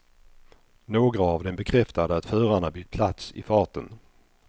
Några av dem bekräftade att förarna bytt plats i farten.